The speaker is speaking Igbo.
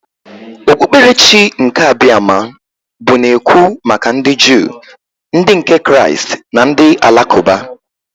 Okpukperechi nke Abiama bụ na-ekwu maka ndị Juu, ndị nke Kraịst na ndị Alakụba.